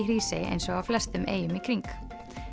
Hrísey eins og á flestum eyjum í kring